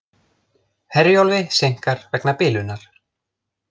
Herjólfi seinkar vegna bilunar